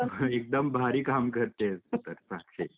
एकदम भारी काम करते आहेस तू तर साक्षी.